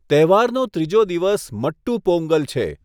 તહેવારનો ત્રીજો દિવસ મટ્ટૂ પોંગલ છે.